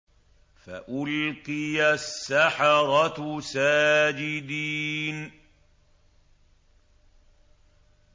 فَأُلْقِيَ السَّحَرَةُ سَاجِدِينَ